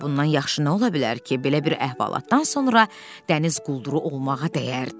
Daha bundan yaxşı nə ola bilər ki, belə bir əhvalatdan sonra dəniz qulduru olmağa dəyərdi.